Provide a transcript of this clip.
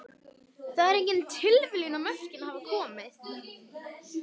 Það er engin tilviljun að mörkin hafa komið.